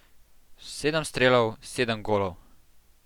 Sedem strelov, sedem golov.